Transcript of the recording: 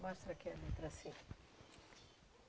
Mostra aqui a letra assim.